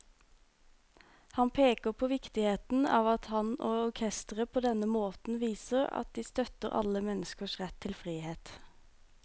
Han peker på viktigheten av at han og orkesteret på denne måten viser at de støtter alle menneskers rett til frihet.